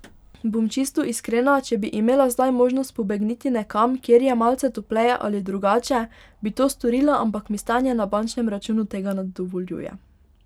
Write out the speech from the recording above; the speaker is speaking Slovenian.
Bom čisto iskrena, če bi imela zdaj možnost pobegniti nekam, kjer je malce topleje ali drugače, bi to storila, ampak mi stanje na bančnem računu tega ne dovoljuje.